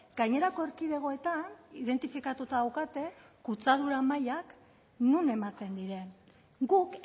gainerako erkidegoetan identifikatuta daukate kutsadura mailak non ematen diren guk